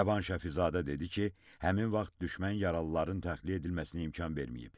Rəvan Şəfizadə dedi ki, həmin vaxt düşmən yaralıların təxliyə edilməsinə imkan verməyib.